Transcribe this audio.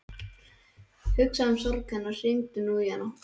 Hugsaðu um sorg hennar, hringdu nú í hana.